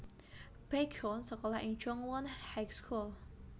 Baekhyun sékolah ing Jungwon High School